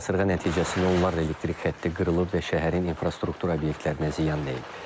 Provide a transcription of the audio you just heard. Qasırğa nəticəsində onlarla elektrik xətti qırılıb və şəhərin infrastruktura obyektlərinə ziyan deyib.